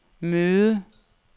møde